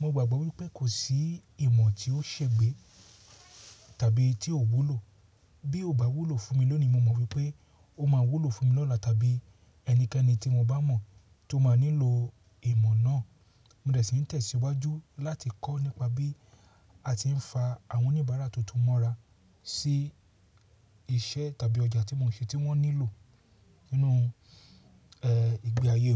mo gbàgbọ́ wípé kò sí ìmọ̀ tí ó ṣe gbé tàbí tí ò wúlò. Bí ò bá wúlò fún mi lónìí, mo mọ̀ wípé ó máa wúlò fún mi lọ́la tàbí ẹnikẹ́ni tí mo bá mọ̀ tó máa nílò ìmọ̀ náà. Mo dẹ sí ń tẹ̀síwájú láti kọ́ nípa bí a ti ń fa àwọn oníbàárà tuntun mọ́ra sí iṣẹ́ tàbí ọjà tí mò ń ṣe tí wọ́n nílò nínú, ẹ́, ìgbé ayé wọn.